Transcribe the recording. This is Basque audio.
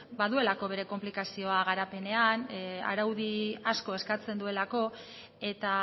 baduelako bere konplikazioa garapenena araudi asko eskatzen duelako eta